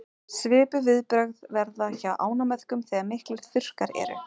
svipuð viðbrögð verða hjá ánamöðkum þegar miklir þurrkar eru